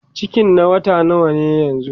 cikin na wata nawa yanzun?